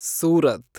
Surat